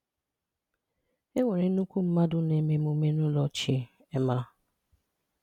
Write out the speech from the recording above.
E nwere nnukwu mmadụ na-eme emume n’ụlọchị. um